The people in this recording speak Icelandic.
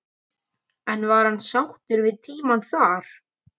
En var hann sáttur við tímann þar?